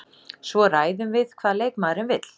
Svo ræðum við hvað leikmaðurinn vill.